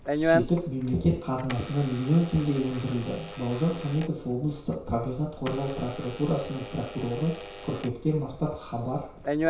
сөйтіп мемлекет қазынасына миллион теңге өндірілді бауыржан хамитов облыстық табиғатты қорғау прокуратурасының прокуроры қыркүйектен бастап хабар